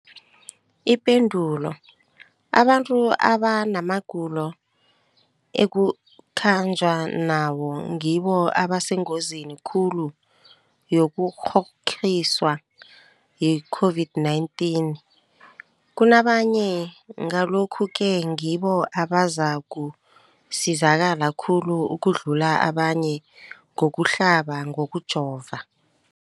Ipendulo, abantu abanamagulo ekukhanjwa nawo ngibo abasengozini khulu yokukghokghiswa yi-COVID-19 kunabanye, Ngalokhu-ke ngibo abazakusizakala khulu ukudlula abanye ngokuhlaba, ngokujova.